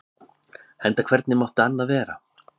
Enda hvernig mátti annað vera?